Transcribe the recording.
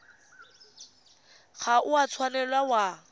ga o a tshwanela wa